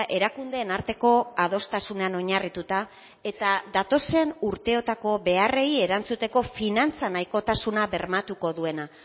erakundeen arteko adostasunean oinarrituta eta datozen urteotako beharrei erantzuteko finantza nahikotasuna bermatuko duena